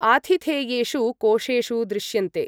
आथिथेयेषु कोशेषु दृश्यन्ते ।